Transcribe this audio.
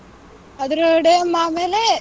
ಅದ್ರ day ಆಮೇಲೆ